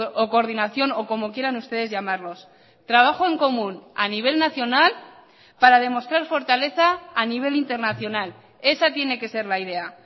o coordinación o como quieran ustedes llamarlos trabajo en común a nivel nacional para demostrar fortaleza a nivel internacional esa tiene que ser la idea